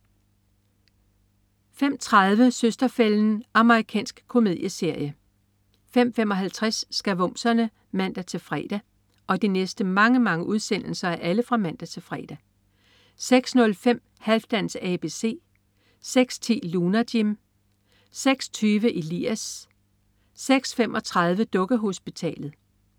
05.30 Søster-fælden. Amerikansk komedieserie 05.55 Skavumserne (man-fre) 06.05 Halfdans ABC (man-fre) 06.10 Lunar Jim (man-fre) 06.20 Elias (man-fre) 06.35 Dukkehospitalet (man-fre)